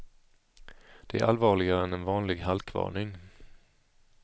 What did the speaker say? Det är allvarligare än en vanlig halkvarning.